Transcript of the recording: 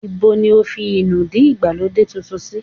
Ibo ní o fi inúdí ìgbàlódé titun sì?